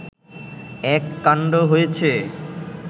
এক কাণ্ড হয়েছে